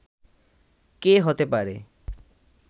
কে হতে পারে